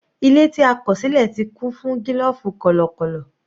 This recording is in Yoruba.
Ilé tí a kọ̀ sílẹ̀ ti kún fún gílòfù kọ̀lọ̀kọ̀lọ̀.